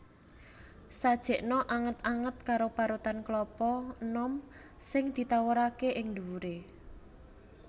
Sajèkna anget anget karo parutan klapa enom sing ditawuraké ing ndhuwuré